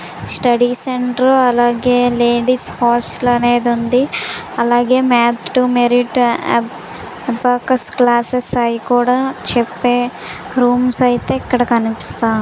Study centre అలాగే ladies hostel అనేది ఉంది అలాగే math to merit focus classes ఆవి కూడా చెప్పే రూమ్ స్ అయితే ఇక్కడ కనిపిస్తునాయి.